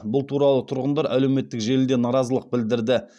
бұл туралы тұрғындар әлеуметтік желіде наразылық білдірді